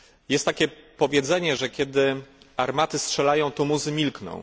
Jest takie powiedzenie, że kiedy armaty strzelają, to muzy milkną.